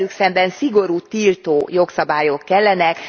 Velük szemben szigorú tiltó jogszabályok kellenek.